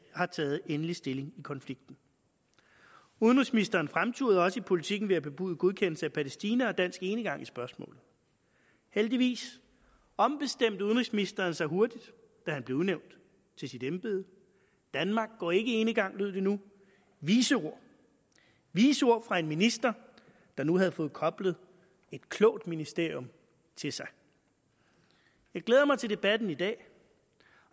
har taget endelig stilling i konflikten udenrigsministeren fremturede også i politiken ved at bebude godkendelse af palæstina og dansk enegang i spørgsmålet heldigvis ombestemte udenrigsministeren sig hurtigt da han blev udnævnt til sit embede danmark går ikke enegang lød det nu vise ord vise ord fra en minister der nu havde fået koblet et klogt ministerium til sig jeg glæder mig til debatten i dag